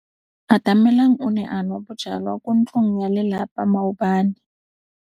Atamelang o ne a nwa bojwala kwa ntlong ya tlelapa maobane.